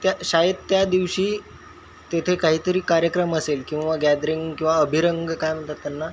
त्या शाळेत त्या दिवशी तेथे काही तरी कार्यक्रम असेल किंवा गॅदरिंग किंवा अभिरंग काय म्हणतात त्यांना --